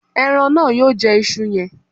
Ẹran náà yóò jẹ isu yẹn